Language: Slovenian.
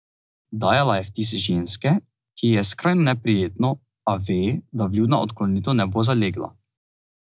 Dajala je vtis ženske, ki ji je skrajno neprijetno, a ve, da vljudna odklonitev ne bo zalegla.